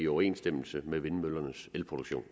overensstemmelse med vindmøllernes elproduktion